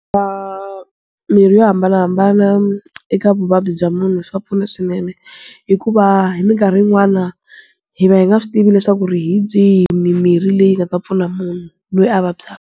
Mirhi yo hambanahambana eka vuvabyi bya munhu swa pfuna swinene. Hikuva hi minkarhi yin'wana, hi va hi nga swi tivi leswaku ri hi byihi mimirhi leyi nga ta pfuna munhu loyi a vabyaka.